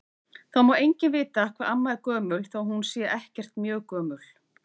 Það má enginn vita hvað amma er gömul þó að hún sé ekkert mjög gömul.